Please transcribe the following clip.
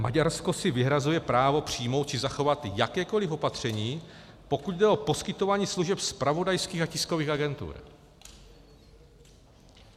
Maďarsko si vyhrazuje právo přijmout či zachovat jakékoliv opatření, pokud jde o poskytování služeb zpravodajských a tiskových agentur.